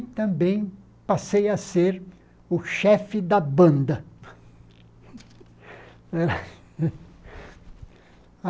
E também passei a ser o chefe da banda.